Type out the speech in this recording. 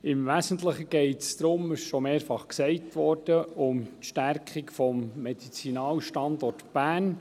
Im Wesentlichen geht es – es wurde schon mehrfach gesagt – um die Stärkung des Medizinalstandorts Bern.